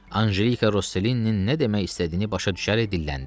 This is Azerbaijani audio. Ancelika Rosselinin nə demək istədiyini başa düşərək dilləndi.